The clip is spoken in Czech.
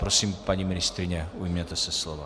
Prosím, paní ministryně, ujměte se slova.